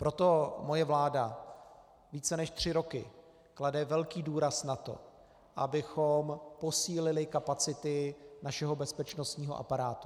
Proto moje vláda více než tři roky klade velký důraz na to, abychom posílili kapacity našeho bezpečnostního aparátu.